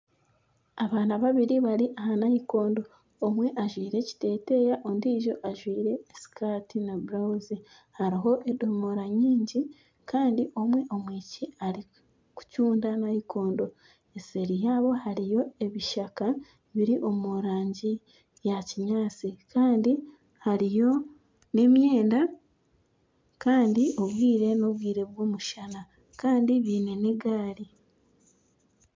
Abaana babiri bari aha nayikondo, omwe ajwire ekiteteya, ondiijo ajwire sikati na burawuzi. Hariho edomora nyingi Kandi omwe omwishiki arikucunda nayikondo. Eseeri yaabo hariyo ebishaka biri omu rangi ya kinyaasi kandi hariyo n'emyenda kandi obwire n'obwire bw'omushana. Kandi baine n'egaari